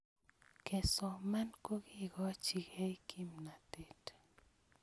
kesoman kokekachkei kimnatet